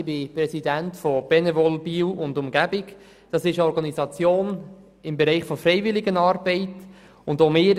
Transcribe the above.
Ich bin Präsident von Benevol Biel und Umgebung, einer im Bereich der Freiwilligenarbeit tätigen Organisation.